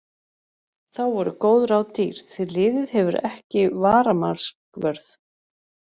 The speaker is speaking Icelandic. Þá voru góð ráð dýr því liðið hefur ekki varamarkvörð.